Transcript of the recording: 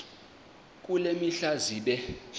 kule mihla zibe